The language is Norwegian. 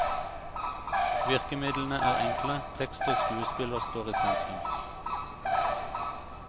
Virkemidlene er enkle, tekst og skuespiller står i sentrum.